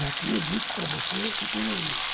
Já tinha dito para você anteriormente.